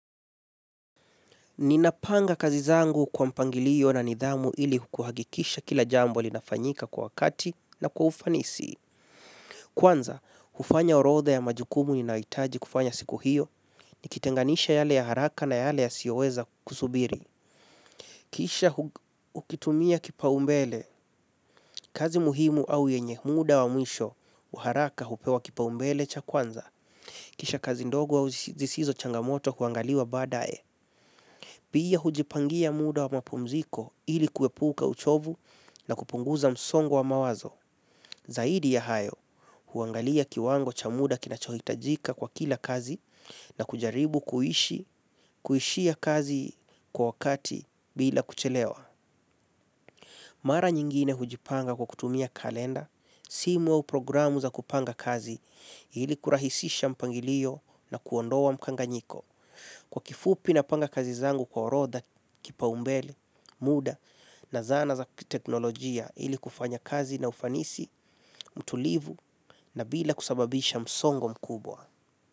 Ninapanga kazi zangu kwa mpangiliyo na nidhamu ili kuhagikisha kila jambo linafanyika kwa wakati na kwa ufanisi. Kwanza, hufanya orotha ya majukumu ninaitaji kufanya siku hiyo ni kitenganisha yale ya haraka na yale ya sioweza kusubiri. Kisha ukitumia kipaumbele kazi muhimu au yenye muda wa mwisho wa haraka hupewa kipaumbele cha kwanza. Kisha kazi ndogo au zisizo changamoto kuangaliwa badae. Pia hujipangia muda wa mapumziko ili kuepuka uchovu na kupunguza msongo wa mawazo. Zaidi ya hayo, huangalia kiwango cha muda kinachohitajika kwa kila kazi na kujaribu kuishi, kuishia kazi kwa wakati bila kuchelewa. Mara nyingine hujipanga kalenda simu au programu za kupanga kazi ili kurahisisha mpangilio na kuondoa mkanganyiko. Kwa kifupi napanga kazi zangu kwa orodha, kipaumbele, muda na zana za teknolojia ili kufanya kazi na ufanisi, mtulivu na bila kusababisha msongo mkubwa.